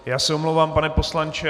Já se omlouvám, pane poslanče.